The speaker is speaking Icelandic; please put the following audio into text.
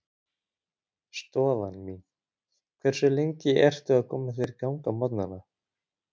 Stofan mín Hversu lengi ertu að koma þér í gang á morgnanna?